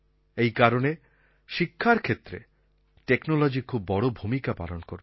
এই কারণে শিক্ষার ক্ষেত্রে টেকনোলজি খুব বড় ভূমিকা পালন করবে